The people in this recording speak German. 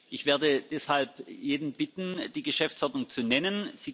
Ich werde deshalb jeden bitten, die Geschäftsordnung zu nennen.